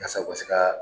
Yasa u ka se ka